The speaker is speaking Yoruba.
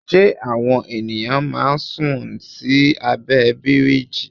Ṣé àwọn ènìyàn máa ń sùn sí abẹ́ bíríjì?